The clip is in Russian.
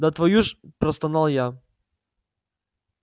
да твою ж простонал я